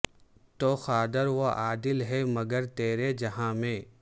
تو قادر و عادل ہے مگر تیرے جہاں میں